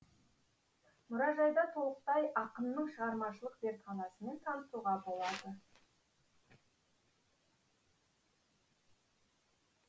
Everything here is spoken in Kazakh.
мұражайда толықтай ақынның шығармашылық зертханасымен танысуға болады